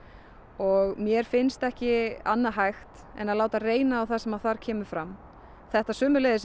og mér finnst ekki annað hægt en að láta reyna á það sem þar kemur fram þetta